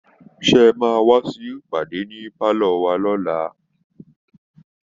Seé ẹ máa wá sí ìpàdé ní pálọ̀ wa lọ́la